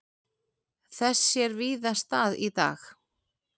Þess sér víða stað í dag.